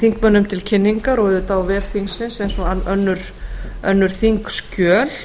þingmönnum til kynningar og auðvitað á vef þingsins eins og önnur þingskjöl